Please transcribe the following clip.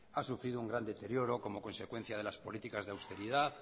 han sufrido un gran deterioro como consecuencia de las políticas de austeridad